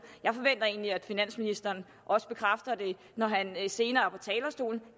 og egentlig at finansministeren også bekræfter det når han senere går talerstolen